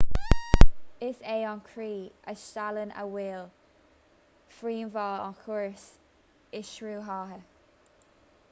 is é an croí a steallann an fhuil príomhbhall an chóras imshruthaithe